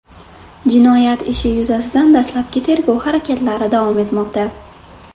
Jinoyat ishi yuzasidan dastlabki tergov harakatlari davom etmoqda.